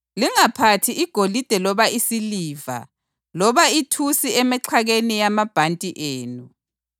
Lingaphathi igolide loba isiliva loba ithusi emixhakeni yamabhanti enu;